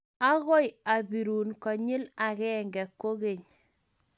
agoi abirun konyil agenge kogeny